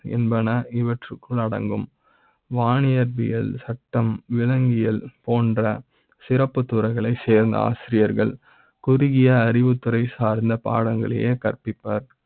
என்பன இவற்க்குள் அடங்கும். வானியற்பி யல் சட்டம், விலங்கியல் போன்ற சிறப்புத் துறைகளை சேர்ந்த ஆசிரியர்கள் குறுகிய அறிவுத்துறை சார்ந்த பாடங்களையே கற்பிப்ப ர்.